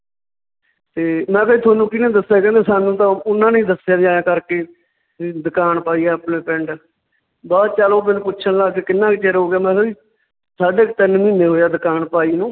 ਤੇ ਮੈਂ ਕਿਹਾ ਜੀ ਤੁਹਾਨੂੰ ਕਿਹਨੇ ਦੱਸਿਆ ਕਹਿੰਦੇ ਸਾਨੂੰ ਤਾਂ ਉਹਨਾਂ ਨੇ ਹੀ ਦੱਸਿਆ ਵੀ ਐਂ ਕਰਕੇ ਵੀ ਦੁਕਾਨ ਪਾਈ ਹੈ ਆਪਣੇ ਪਿੰਡ ਬਾਅਦ 'ਚ ਚੱਲ ਉਹ ਮੈਨੂੰ ਪੁੱਛਣ ਲੱਗ ਗਏ ਕਿੰਨਾ ਕੁ ਚਿਰ ਹੋ ਗਿਆ, ਮੈਂ ਕਿਹਾ ਜੀ ਸਾਢੇ ਕੁ ਤਿੰਨ ਮਹੀਨੇ ਹੋਏ ਦਕਾਨ ਪਾਈ ਨੂੰ